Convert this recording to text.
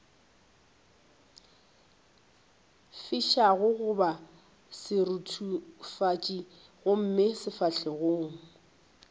fišago goba seruthufatši gomme sefahlogo